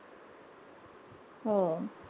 हो.